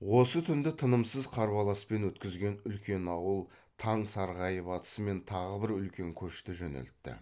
осы түнді тынымсыз қарбаласпен өткізген үлкен ауыл таң сарғайып атысымен тағы бір үлкен көшті жөнелтті